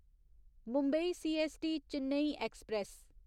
Mumbai CST Chennai express